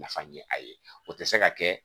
Nafa ye a ye o tɛ se ka kɛ